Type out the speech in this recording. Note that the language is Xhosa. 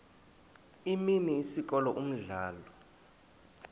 imini isikolo umdlalo